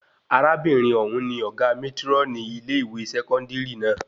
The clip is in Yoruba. Arábìnrin òun ní ọgá mátrónì ilé-ìwé sẹkọndiri náà